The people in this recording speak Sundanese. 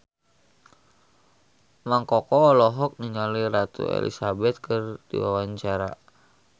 Mang Koko olohok ningali Ratu Elizabeth keur diwawancara